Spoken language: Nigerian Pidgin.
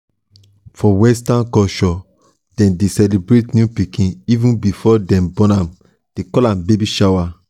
for western culture dem dey celebrate new pikin even before dem born am they call am baby shower